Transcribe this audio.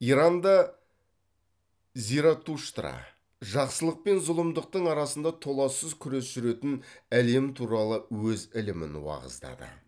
иранда заратуштра жақсылық пен зұлымдықтың арасында толассыз күрес жүретін әлем туралы өз ілімін уағыздады